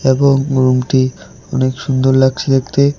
এবং রুমটি অনেক সুন্দর লাগছে দেখতে।